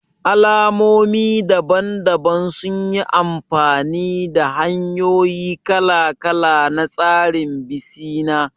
Al'ummomi daban-daban sun yi amfani da hanyoyi kala-kala na tsarin bisina